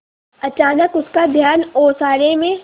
अचानक उसका ध्यान ओसारे में